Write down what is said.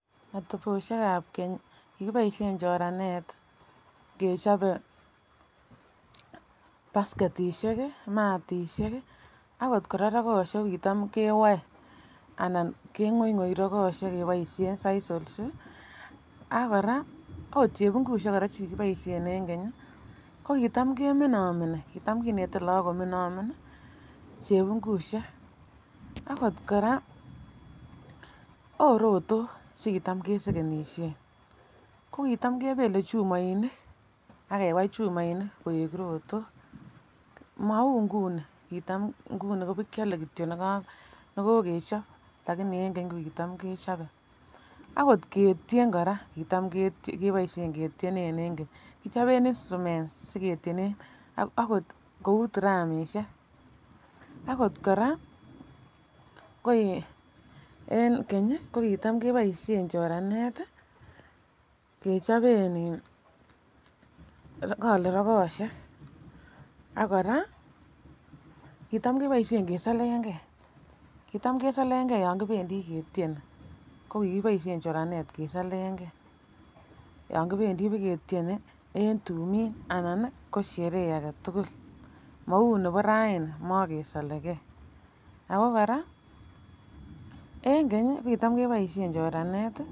Atebosiek ab keny kikiboisien choranet kechobe basketisiek matisiek ak ot kora rogoosiek kitam kewoe anan keng'oing'oi rogoosiek keboisien sisals ak kora okot chebungusiek en keny ko kitam keminomini kitam kinete look kominomin chebungusiek akot kora akot rotok che kitam kesegenisien ko kitam kebele chumoinik ak kewai chumoinik koek rotok maunguni kitam nguni kibakiole kityo neko nekokechob lakini en keny ko kitam kechobe akot ketien kora kitam keboisien ketienen en keny. Kichoben instruments akot kou tiramisiek akot kora ko en keny kitam keboisien choranet kechoben in kole rogoosiek ak kora kitam keboisien kesolon ge kitam kesolon ge yan kipendi ketieni kokikiboisien choranet kesolen ge yangibendii bogetieni en tumin anan ko sherehe mou nebo raini mokesolege ako kora en keny kitam keboisien choranet